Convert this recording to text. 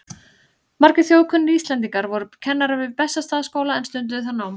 Margir þjóðkunnir Íslendingar voru kennarar við Bessastaðaskóla eða stunduðu þar nám.